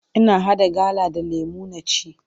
Ina haɗa gala da lemu na ci.